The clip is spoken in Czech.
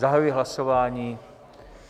Zahajuji hlasování.